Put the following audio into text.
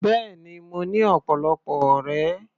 Bẹ́ẹ̀ni, mo ní ọ̀pọ̀lọpọ̀ ọ̀rẹ́.